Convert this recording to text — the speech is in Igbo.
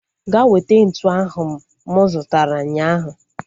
Ga weta ntụ ahu m zutara ụnyaahụ